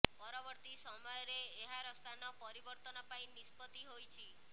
ପରବର୍ତ୍ତୀ ସମୟରେ ଏହାର ସ୍ଥାନ ପରିବର୍ତ୍ତନ ପାଇଁ ନିଷ୍ପତ୍ତି ହୋଇଛି